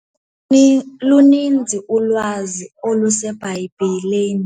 Luninzi ulwazi oluseBhayibhileni.